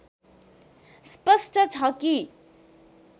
स्पष्ट छ कि